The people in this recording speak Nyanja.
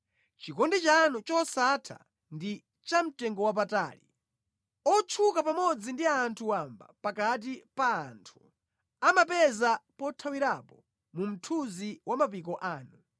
Chikondi chanu chosatha ndi chamtengowapatali! Otchuka pamodzi ndi anthu wamba pakati pa anthu amapeza pothawirapo mu mthunzi wa mapiko anu.